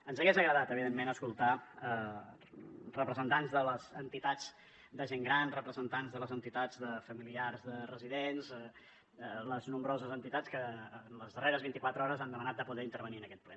ens hagués agradat evidentment escoltar representants de les entitats de gent gran representants de les entitats de familiars de residents les nombroses entitats que en les darreres vint i quatre hores han demanat de poder intervenir en aquest ple